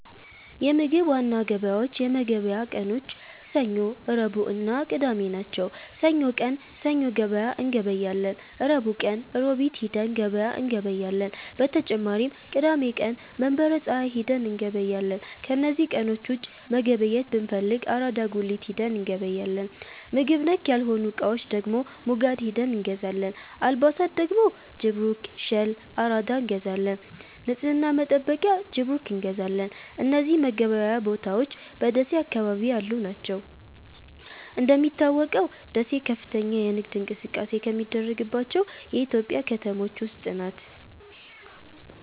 የምግብ ዋና ገበያዎች የመገብያ ቀኖች ሰኞ፣ ረቡዕእና ቅዳሜ ናቸው። ሰኞ ቀን ሰኞ ገበያ እንገበያለን። ረቡዕ ቀን ሮቢት ሂደን ገበያ እንገበያለን። በተጨማሪም ቅዳሜ ቀን መንበረ ፀሀይ ሂደን እንገበያለን። ከነዚህ ቀኖች ውጪ መገብየት ብንፈልግ አራዳ ጉሊት ሂደን እንገበያለን። ምግብ ነክ ያልሆኑ እቃዎች ደግሞ ሙጋድ ሂደን እንገዛለን። አልባሣት ደግሞ ጅብሩክ፣ ሸል፣ አራዳ እንገዛለን። ንፅህና መጠበቂያ ጅብሩክ እንገዛለን። እነዚህ መገበያያ ቦታዎች በደሴ አካባቢ ያሉ ናቸው። እንደሚታወቀው ደሴ ከፍተኛ የንግድ እንቅስቃሴ ከሚደረግባቸው የኢትዮጵያ ከተሞች ውስጥ ናት።